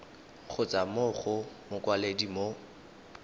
kgotsa mo go mokwaledi mo